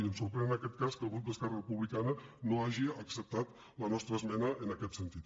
i ens sorprèn en aquest cas que el grup d’esquerra republicana no hagi acceptat la nostra esmena en aquest sentit